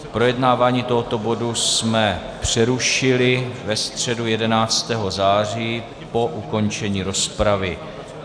Projednávání tohoto bodu jsme přerušili ve středu 11. září po ukončení rozpravy.